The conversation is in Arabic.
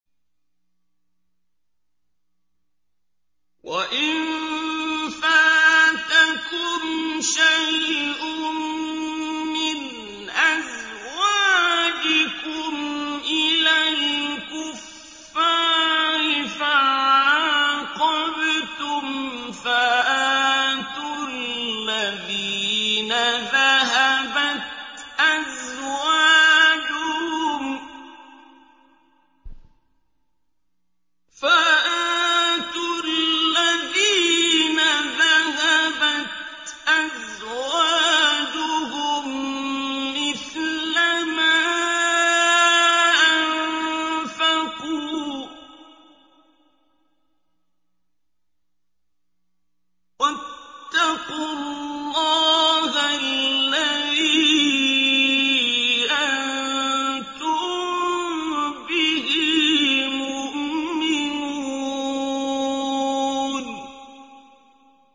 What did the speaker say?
وَإِن فَاتَكُمْ شَيْءٌ مِّنْ أَزْوَاجِكُمْ إِلَى الْكُفَّارِ فَعَاقَبْتُمْ فَآتُوا الَّذِينَ ذَهَبَتْ أَزْوَاجُهُم مِّثْلَ مَا أَنفَقُوا ۚ وَاتَّقُوا اللَّهَ الَّذِي أَنتُم بِهِ مُؤْمِنُونَ